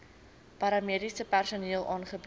paramediese personeel aangebied